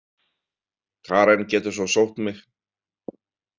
Karen getur svo sótt mig.